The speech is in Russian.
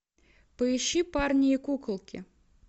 поищи парни и куколки